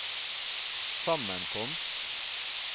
sammenkomst